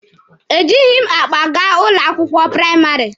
E jịghị m akpa gaa ụlọ akwụkwọ praịmarị.